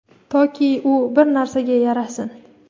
toki u bir narsaga yarasin.